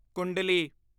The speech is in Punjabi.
ਕੁੰਡਲੀ